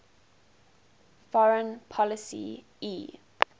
foreign policy e